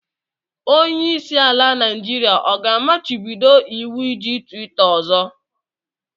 Onye isi ala Naijiria ọ ga-amachibido iwu iji twita ọzọ?